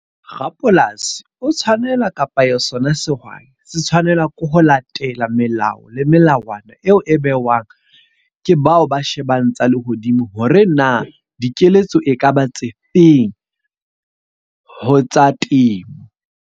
Rapolasi o tshwanela kapa sona sehwai se tshwanela ke ho latela melao le melawana eo e behwang ke bao ba shebang tsa lehodimo. Hore na dikeletso e ka ba tse feng ho tsa temo.